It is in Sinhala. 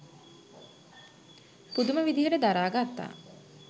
පුදුම විදිහට දරා ගත්තා.